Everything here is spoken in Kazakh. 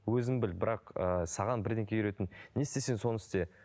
өзің біл бірақ ыыы саған үйреттім не істесең соны істе